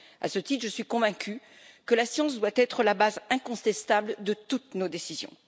À ce titre, je suis convaincue que la science doit être la base incontestable de toutes nos décisions.